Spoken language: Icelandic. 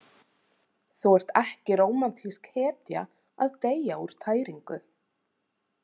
Þú ert ekki rómantísk hetja að deyja úr tæringu.